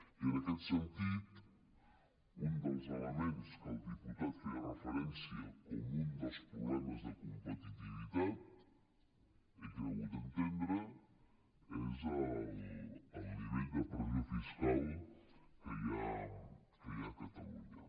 i en aquest sentit un dels elements a què el diputat feia referència com un dels problemes de competitivitat he cregut entendre és el nivell de pressió fiscal que hi ha a catalunya